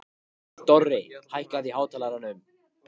Dorri, hækkaðu í hátalaranum.